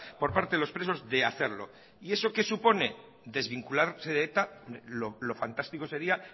por parte de los presos de hacerlo y eso qué supone desvincularse de eta lo fantástico sería